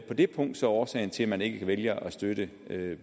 det punkt så årsagen til at man ikke vælger at støtte